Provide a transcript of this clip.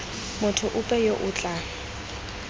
motho ope yo o tla